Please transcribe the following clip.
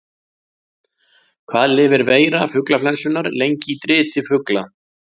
Hvað lifir veira fuglaflensunnar lengi í driti fugla?